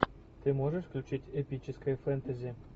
ты можешь включить эпическое фэнтези